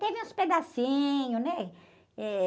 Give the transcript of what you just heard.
Teve uns pedacinhos, né? Eh